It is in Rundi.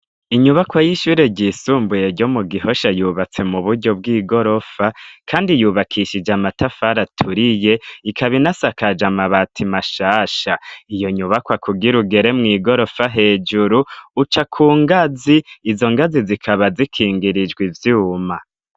Inyubako y'ishure ryisumbuye ryo mu Gihosha yubatse mu buryo bw'igorofa kandi yubakishije amatafari aturiye. Ikaba inasakaje amabati mashasha. Iyo nyubakwa kugira ugere mw' igorofa hejuru, uca ku ngazi. Izo ngazi zikaba zikingirijwe ivyuma.